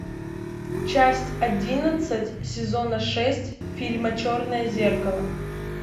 часть одиннадцать сезона шесть фильма черное зеркало